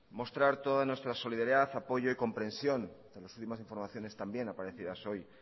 mostrar toda nuestra solidaridad apoyo y compresión por las últimas informaciones también aparecidas hoy